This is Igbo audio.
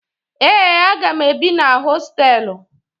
Ee, aga m ebi na hostelụ.